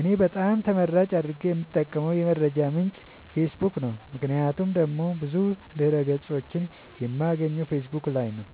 እኔ በጣም ተመራጭ አድርጌ የምጠቀምበት የመረጃ ምንጭ ፌሰቡክ ነዉ ምክንያቱም ደግሞ ብዙ ድህረ ገፆችን የማገኘው ፌሰቡክ ላይ ነዉ